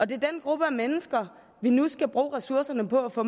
det er den gruppe mennesker vi nu skal bruge ressourcerne på at få